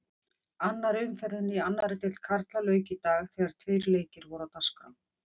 Annarri umferðinni í annarri deild karla lauk í dag þegar tveir leikir voru á dagskrá.